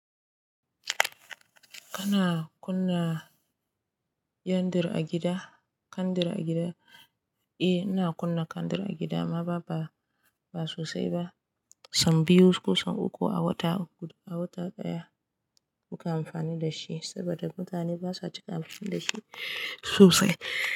Kana kunna kendir a gida? Kendir a gida? Eh, ina kunna kendir a gida amma ba, ba, ba sosai ba. Sau biyu ko sau uku a wata, a wata ɗaya muke amfani da shi saboda, mutane basa cika amfani da shi sosai.